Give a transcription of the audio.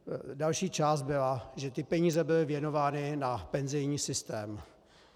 Další část byla, že ty peníze byly věnovány na penzijní systém.